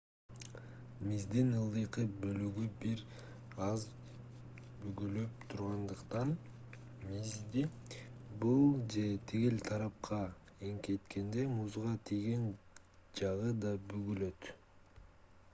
миздин ылдыйкы бөлүгү бир аз бүгүлүп тургандыктан мизди бул же тигил тарапка эңкейткенде музга тийген жагы да бүгүлөт